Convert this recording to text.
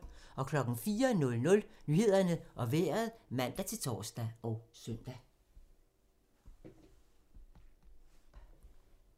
04:00: Nyhederne og Vejret (man-tor og søn)